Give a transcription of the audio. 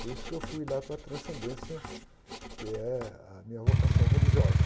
Por isso que eu fui lá para a transcendência, que é a minha vocação religiosa.